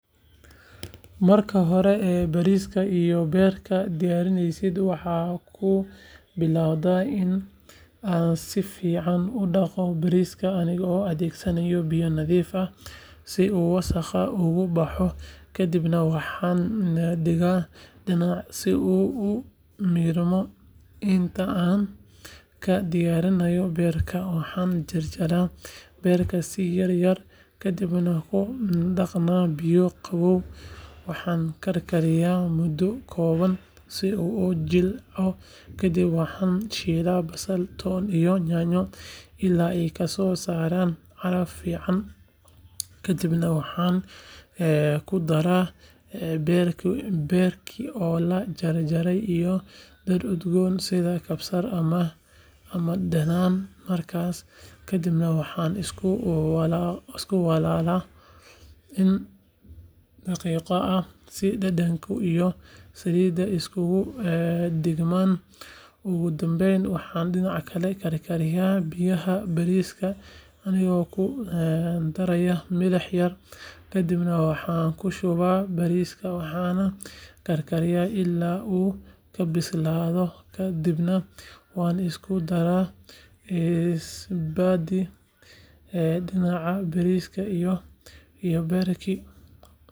Marka hore bariiska iyo beerka diyaarintooda waxaan ku bilaabaa in aan si fiican u dhaqo bariiska anigoo adeegsanaya biyo nadiif ah si uu wasakhda uga baxo kadibna waxaan dhigaa dhinac si uu u miirmo inta aan ka diyaarinayo beerka waxaan jarjarayaa beerka si yaryar kadibna ku dhaqayaa biyo qabow waxaan karkariyaa muddo kooban si uu u jilco kadib waxaan shiilaa basal, toon iyo yaanyo ilaa ay ka soo saaraan caraf fiican kadibna waxaan ku daraa beerkii oo la jarjaray iyo dhir udgoon sida kabsar ama dhanaan markaas kadibna waxaan isku walaalaa in daqiiqado ah si dhadhanka iyo saliidda isugu dhigmaan ugu dambeyn waxaan dhinac kale karkariyaa biyaha bariiska anigoo ku daraya milix yar kadibna waxaan ku shubaa bariiska waxaana karkariyaa ilaa uu ka bislaado ka dibna waan isku daraa labadii dhinac bariiskii iyo beerkii.